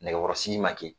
Nɛgɛkɔrɔsigi ma kɛ